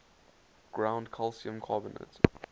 ground calcium carbonate